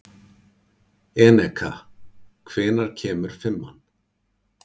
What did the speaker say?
Eneka, hvenær kemur fimman?